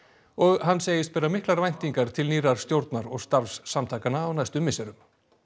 og hann segist bera miklar væntingar til nýrrar stjórnar og starfs samtakanna á næstu misserum